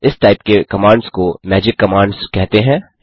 इस टाइप के कमांड्स को मैजिक कमांड्स कहते हैं